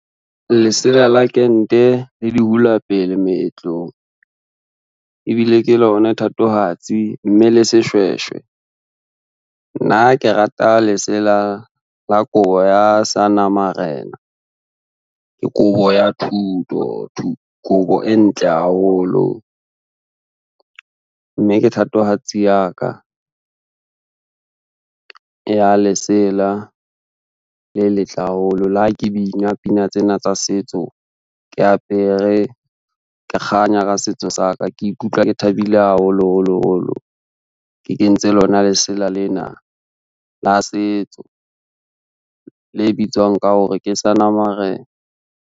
Lesela la kente le di hula pele meetlong, ebile ke lona thatohatsi mme le seshweshwe. Nna ke rata lesela la kobo ya seana marena, ke kobo ya thuto, kobo e ntle haholo mme ke thatohatsi ya ka, ya lesela le letle haholo. Le ha ke bina pina tsena tsa setso, ke apere ke kganya ka setso sa ka, ke ikutlwa ke thabile haholo holo holo, ke kentse lona lesela lena la setso le bitswang ka hore ke seana marena.